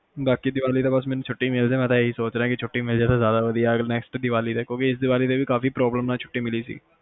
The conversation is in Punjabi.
ਬਾਕੀ ਦੀਵਾਲੀ ਤੇ ਛੁੱਟੀ ਮਿਲਜੇ ਮੈਂ ਹੀ ਸੋਚ ਰਿਹਾ ਕਿ ਬਸ ਛੁੱਟੀ ਮਿਲਜੇ ਤਾ ਜ਼ਿਆਦਾ ਵਧੀਆ ਕਿਉਂਕਿ ਇਸ ਦੀਵਾਲੀ ਤੇ ਵੀ ਕਾਫੀ problem ਨਾਲ ਛੁੱਟੀ ਮਿਲੀ ਸੀ